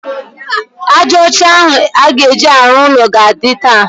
Ájá ọcha ahụ a ga-eji arụ ụlọ ga-adị taa.